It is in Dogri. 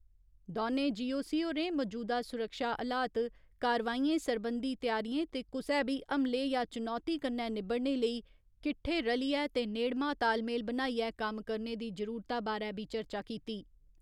दौनें जी.ओ.सी. होरें मजूदा सुरक्षा हलात, कारवाइयें सरबंधी त्यारियें ते कुसै बी हमले या चुनौती कन्नै निबड़ने लेई किट्ठे रलियै ते नेड़मा तालमेल बनाइयै कम्म करने दी जरुरता बारै बी चर्चा कीती।